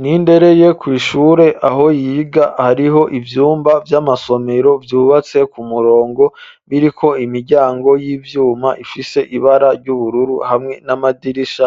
Nindereye, kw'ishure aho yiga, hariho ivyumba vy'amasomero, vyubatse ku murongo, biriko imiryango y'ivyuma, ifise ibara ry'ubururu, hamwe n'amadirisha;